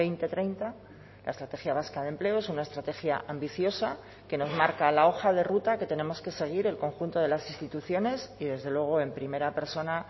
dos mil treinta la estrategia vasca de empleo es una estrategia ambiciosa que nos marca la hoja de ruta que tenemos que seguir el conjunto de las instituciones y desde luego en primera persona